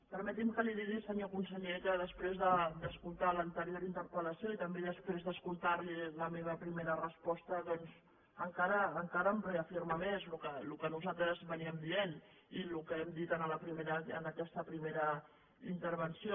permeti’m que li digui senyor conseller que després d’escoltar l’anterior interpel·lació i també després d’escoltar li la meva primera resposta doncs encara em reafirma més en el que nosaltres dèiem i el que hem dit en aquesta primera intervenció